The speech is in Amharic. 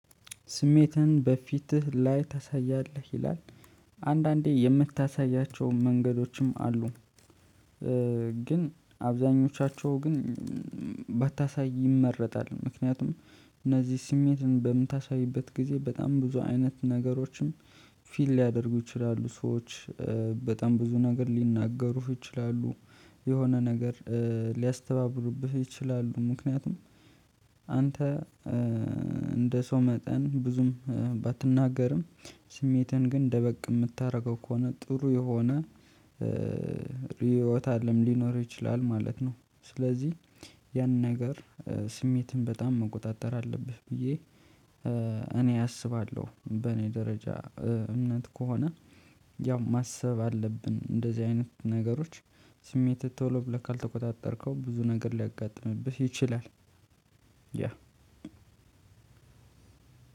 ስሜትን በፊትህ ላይ ታሳያለህ ይላል አንዳንዴ የምታሳያቸውን መንገዶችም አሉ። ግን አብዛኞቻቸው ግን ባታሳይ ይመረጣል። ምክንያቱም እነዚህ ስሜትን በምታሳይበት ጊዜ በጣም ብዙ አይነት ነገሮችም ፊል ሊያደርጉ ይችላሉ። ሰዎች በጣም ብዙ ነገር ሊናገሩህ ይችላሉ። የሆነ ነገር ሊያስተባብሩብህ ይችላሉ። ምክንያቱም አንተ እንደ ሰው መጠን ብዙም ባትናገርም ስሜትህን ግን ደበቅ ምታደርገው ከሆነ ጥሩ የሆነ ርዕዮት አለም ሊኖር ይችላል ማለት ነው። ስለዚህ ያን ነገር ስሜትን በጣም መቆጣጠር አለብህ ብዬ እኔ አስባለሁ። በእኔ ደረጃ እምነት ከሆነ ያው ማሰብ አለብን እንደዚህ አይነት ነገሮች ስሜትህ ቶሎ ብለህ ካልተቆጣጠርከው ብዙ ነገር ሊያጋጥምብህ ይችላል። ያ